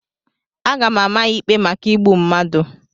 A ga-ama ya ikpe maka igbu mmadụ.